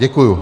Děkuji.